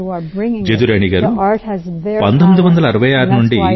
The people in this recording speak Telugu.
జదురాణి గారూ 1966 నుండి